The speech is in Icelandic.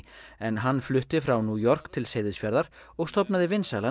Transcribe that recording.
en hann flutti frá New York til Seyðisfjarðar og stofnaði vinsælan